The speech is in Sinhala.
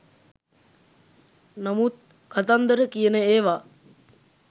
නමුත් කතන්දර කියන ඒවා